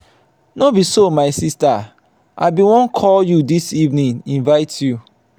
no be so my sister i bin wan call you dis evening invite you.